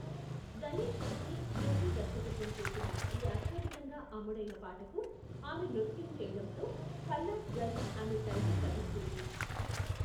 గణేష్ హెగ్డే నృత్య దర్మకత్వం చేసిన ఈ అత్యధికంగా అమ్ముడైన పాటకు ఆమె నృత్యం చేయడంతో ఖల్లాస్ గర్ల్ అనే టైటిల్ లభించింది.